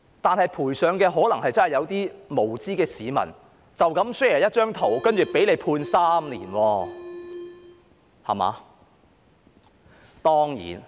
然而，賠上的可能真的是一些無知市民只因 share 一張圖便被判3年監禁。